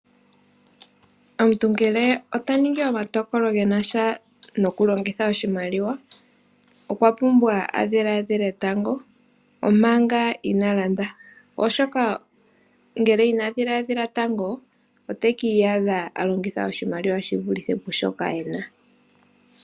Omuntu ngele otaningi omatokolo genasha nokulongitha oshimaliwa okwapumbwa adhiladhile tango omanga ina landa oshoka ngele inadhiladhila tango otiyadha alongitha oshimaliwa shivulithe pushoka ena.